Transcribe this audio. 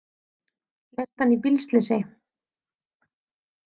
Lést hann í bílslysi